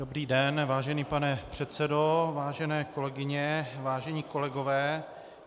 Dobrý den, vážený pane předsedo, vážené kolegyně, vážení kolegové.